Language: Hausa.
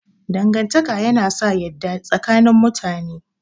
Dangantaka yana sa yadda tsakanin mutane.